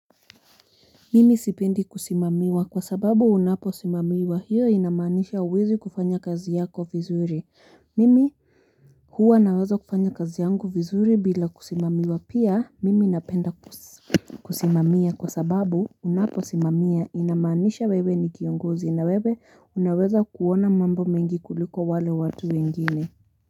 Mimi sipendi kusimamiwa kwa sababu unapo simamiwa hiyo inamaanisha huwezi kufanya kazi yako vizuri. Mimi huwa naweza kufanya kazi yangu vizuri bila kusimamiwa pia mimi napenda kusimamia kwa sababu unapo simamia inamanisha wewe ni kiongozi na wewe unaweza kuona mambo mengi kuliko wale watu wengine.